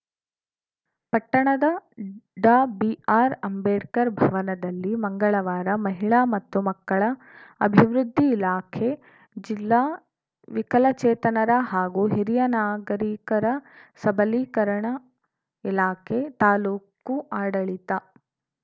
ಪಟ್ಟಣದ ಡಾಬಿಆರ್‌ಅಂಬೇಡ್ಕರ್‌ ಭವನದಲ್ಲಿ ಮಂಗಳವಾರ ಮಹಿಳಾ ಮತ್ತು ಮಕ್ಕಳ ಅಭಿವೃದ್ಧಿ ಇಲಾಖೆ ಜಿಲ್ಲಾ ವಿಕಲಚೇತನರ ಹಾಗೂ ಹಿರಿಯ ನಾಗರಿಕರ ಸಬಲೀಕರಣ ಇಲಾಖೆ ತಾಲೂಕು ಅಡಳಿತ